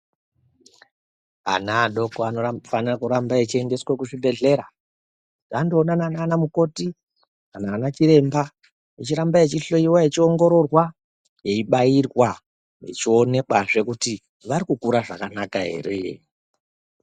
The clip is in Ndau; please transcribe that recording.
Ana adoko anofana kuramba achiendeswa kuzvibhedhlera kuti andonana nana mukoti kana ana chiremba achiramba achohloiwa achiongororwa eibairwa echionekazve kuti vari kukura zvakanaka ere.